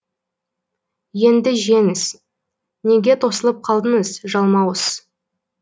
енді жеңіз неге тосылып қалдыңыз жалмауыз